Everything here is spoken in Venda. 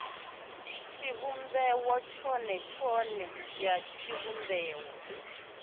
tshivhumbeo tshone tshone ya tshivhumbeo